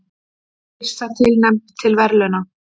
Yrsa tilnefnd til verðlauna